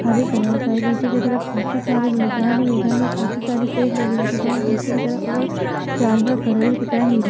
हरे colour का है पीछे की तरफ काफी सारे मैदान ही मैदान है काफी सारे पेड़ लगे हुए दिख रहे है पीछे की तरफ और जानवर खड़े हुए दिख रहे है हिरण।